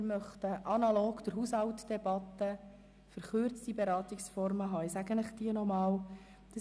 Für dieses haben wir beschlossen, verkürzte Beratungsformen analog der Haushaltdebatte anzuwenden.